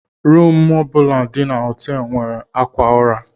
Rumu bụla dị na họtel nwere akwa ụra.